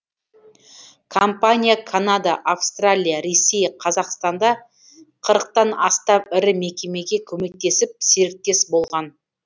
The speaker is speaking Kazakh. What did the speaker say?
компания канада австралия ресей қазақстанда қырықтан астам ірі мекемеге көмектесіп серіктес болған